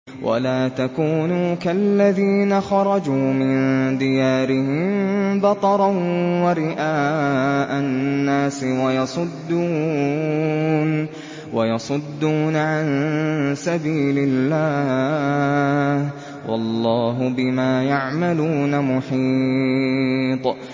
وَلَا تَكُونُوا كَالَّذِينَ خَرَجُوا مِن دِيَارِهِم بَطَرًا وَرِئَاءَ النَّاسِ وَيَصُدُّونَ عَن سَبِيلِ اللَّهِ ۚ وَاللَّهُ بِمَا يَعْمَلُونَ مُحِيطٌ